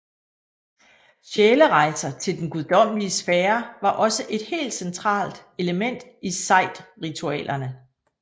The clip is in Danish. Sjælerejser til den guddommelige sfære var også et helt centralt element i sejdritualerne